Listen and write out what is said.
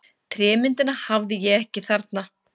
Trémyndina hafði ég ekki þarna.